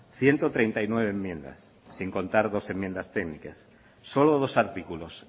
ciento treinta y nueve enmiendas sin contar dos enmiendas técnicas solo dos artículos